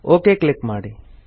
okay click ಮಾಡಿ